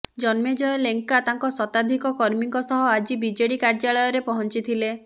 ଜନ୍ମେଜୟ ଲେଙ୍କା ତାଙ୍କ ଶତାଧିକ କର୍ମୀଙ୍କ ସହ ଆଜି ବିଜେଡି କାର୍ୟ୍ୟାଳୟ ରେ ପହଞ୍ଚିଥିଲେ